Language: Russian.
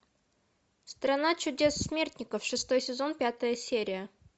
страна чудес смертников шестой сезон пятая серия